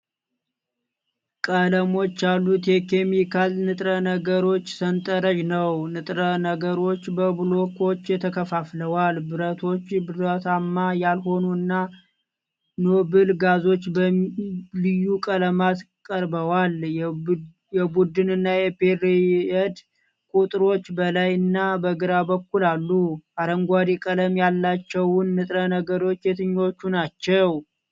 ቀለሞች ያሉት የኬሚካል ንጥረ ነገሮች ሠንጠረዥ ነው። ንጥረ ነገሮቹ በብሎኮች ተከፋፍለዋል። ብረቶች፣ ብረታማ ያልሆኑ እና ኖብል ጋዞች በልዩ ቀለማት ቀርበዋል። የቡድን እና የፔርየድ ቁጥሮች በላይ እና በግራ በኩል አሉ። አረንጓዴ ቀለም ያላቸውት ንጥረ ነገሮች የትኞቹ ናቸው?